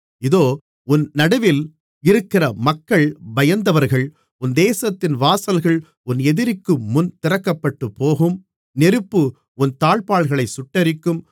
இதோ உன் நடுவில் இருக்கிற மக்கள் பயந்தவர்கள் உன் தேசத்தின் வாசல்கள் உன் எதிரிக்குமுன் திறக்கப்பட்டுப்போகும் நெருப்பு உன் தாழ்ப்பாள்களைச் சுட்டெரிக்கும்